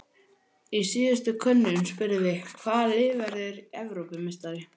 Í síðustu könnun spurðum við- Hvaða lið verður Evrópumeistari?